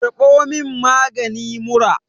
karbo min magani mura!